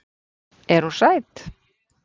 Er hún sæt?